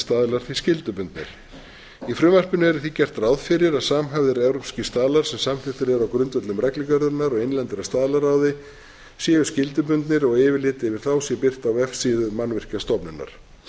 staðlar því skyldubundnir í frumvarpinu er því gert ráð fyrir að samhæfðir evrópskir staðlar sem samþykktir eru á grundvelli reglugerðarinnar og innlendra staðlaráði séu skyldubundnir og yfirlit yfir þá sé birt á vefsíðu mannvirkjastofnunar